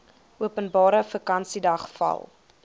openbare vakansiedag val